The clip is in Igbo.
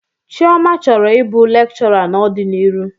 Chioma chọrọ ịbụ lekchọra n'ọdiniru.